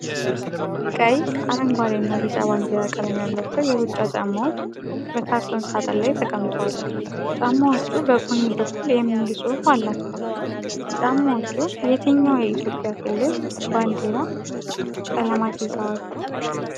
ቀይ፣ አረንጓዴና ቢጫ ባንዲራ ቀለም ያላቸው የሩጫ ጫማዎች በካርቶን ሣጥን ላይ ተቀምጠዋል። ጫማዎቹ በጎን በኩል "ETHIOPIAN" የሚል ጽሑፍ አላቸው። ጫማዎቹ የትኛው የኢትዮጵያ ክልል ባንዲራ ቀለማት ይዘዋል?